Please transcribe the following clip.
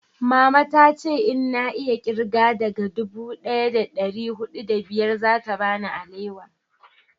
mama ta ce in na iya kirga daga dubu daya da dari hudu da biyar za ta bani alewa